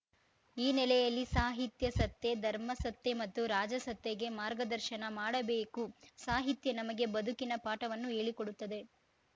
ಈ ನೆಲೆಯಲ್ಲಿ ಸಾಹಿತ್ಯಾಸತ್ತೆ ಧರ್ಮಸತ್ತೆ ಮತ್ತು ರಾಜಸತ್ತೆಗೆ ಮಾರ್ಗದರ್ಶನ ಮಾಡಬೇಕು ಸಾಹಿತ್ಯ ನಮಗೆ ಬದುಕಿನ ಪಾಠವನ್ನು ಹೇಳಿಕೊಡುತ್ತದೆ